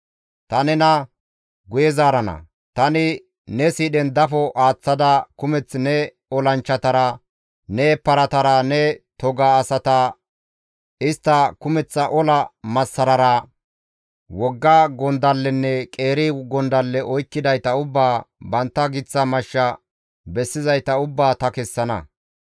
Ta nena guye zaarana; tani ne siidhen dafo aaththada kumeth ne olanchchatara, ne paratara, ne toga asata istta kumeththa ola massarara, wogga gondallenne qeeri gondalle oykkidayta ubbaa, bantta giththa mashsha bessizayta ubbaa ta kessana.